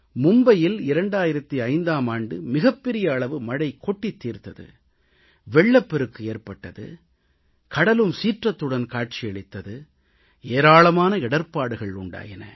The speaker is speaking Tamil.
மும்பையில் 2005ஆம் ஆண்டு மிகப் பெரிய அளவு மழை கொட்டித் தீர்த்தது வெள்ளப்பெருக்கு ஏற்பட்டது கடலும் சீற்றத்துடன் காட்சியளித்தது ஏராளமான இடர்ப்பாடுகள் உண்டாயின